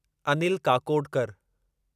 Anil Kakodkar